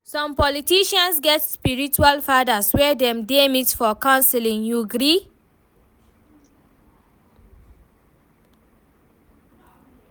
Some politicians get spiritual fathers wey dem dey meet for counselling, you gree?